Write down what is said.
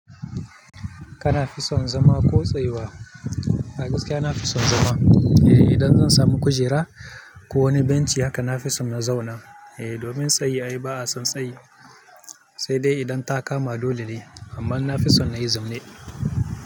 Kana fison zama ko tsayuwa? A gaskiya na fi son zama. Eh idan zan samu kujera ko wani benci haka na fi son na zauna. Eh domin tsayi ai ba'a son tsayi, sai dai idan ta kama dole ne amma na fi son na yi zau ne.